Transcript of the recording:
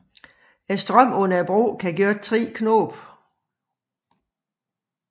Strømmen under broen kan gøre 3 knop